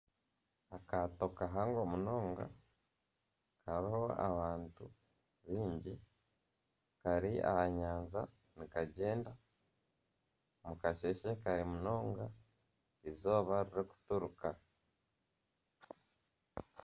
Akaato kahango munonga kariho abantu baingi kari aha nyanja nikagyenda omu kasheshe kare munonga eizooba ririkuturuka